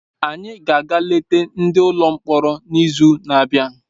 Anyị ga-aga eleta ndị nọ n’ụlọ mkpọrọ n’izu na-abịa.